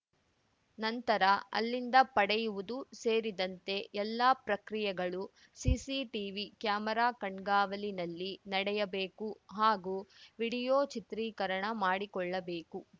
ನಂತರ ಅಲ್ಲಿಂದ ಪಡೆಯುವುದು ಸೇರಿದಂತೆ ಎಲ್ಲ ಪ್ರಕ್ರಿಯೆಗಳು ಸಿಸಿ ಟಿವಿ ಕ್ಯಾಮೆರಾ ಕಣ್ಗಾವಲಿನಲ್ಲಿ ನಡೆಯಬೇಕು ಹಾಗೂ ವಿಡಿಯೋ ಚಿತ್ರೀಕರಣ ಮಾಡಿಕೊಳ್ಳಬೇಕು